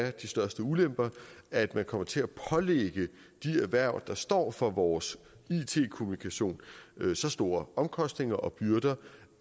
at de største ulemper er at man kommer til at pålægge de erhverv der står for vores it kommunikation så store omkostninger og byrder